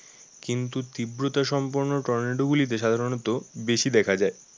কিন্তু তীব্রতা সম্পূর্ণ টর্নেডো গুলিতে সাধারণত বেশি দেখা যায়।